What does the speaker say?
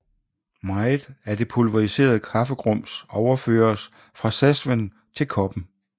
Meget af det pulveriserede kaffegrums overføres fra cezven til koppen